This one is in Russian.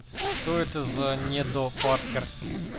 что это за не до паркер